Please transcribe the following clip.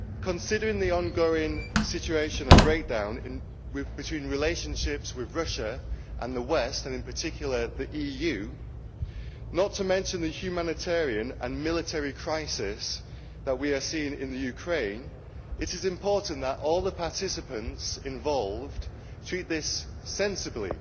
Considering the ongoing situation and breakdown in relationships between Russia and the West and in particular the EU, not to mention the humanitarian and military crisis that we are seeing in Ukraine, it is important that all the participants involved treat this sensibly.